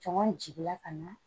Cɔngɔn jiginna ka na